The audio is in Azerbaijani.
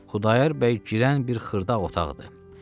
Xudayar bəy girən bir xırda otaqdır.